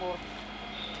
Komfort.